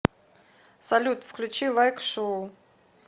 салют включи лайк шоу